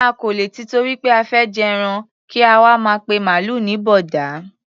A kò lè tìtorí pé a fẹ́ jẹran kí a wá máa pe màlúù ní bọ̀ọ̀dá.